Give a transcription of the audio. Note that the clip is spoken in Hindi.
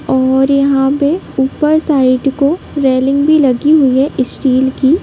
और यहां पे ऊपर साइड को रेलिंग भी लगी हुई हैं स्टील की----